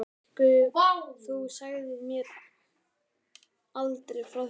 Augu mín stækkuðu: Þú sagðir mér aldrei frá því!